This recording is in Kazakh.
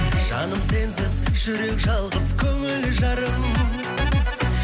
жаным сенсіз жүрек жалғыз көңіл жарым